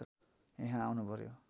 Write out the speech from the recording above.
यहाँ आउनु पर्‍यो